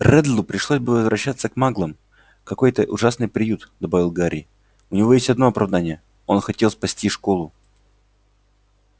реддлу пришлось бы возвращаться к маглам в какой-то ужасный приют добавил гарри у него есть одно оправдание он хотел спасти школу